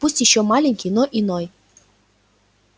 пусть ещё маленький но иной